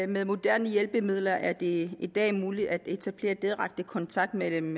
med moderne hjælpemidler er det i dag muligt at etablere direkte kontakt mellem